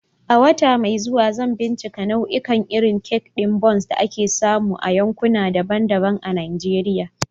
A wata mai zuwa, zan bincika nau'ikan irin kek ɗin Bounce da ake samu a yankuna daban-daban na Najeriya.